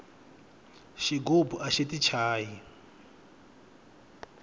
xigubu axi ti chayi